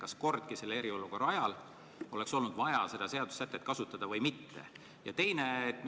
Kas kordki selle eriolukorra ajal oleks olnud vaja seda seadusesätet kasutada või mitte?